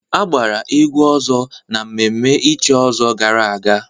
A gbara egwu ọzọ na mmemme ichi ọzọ gara aga.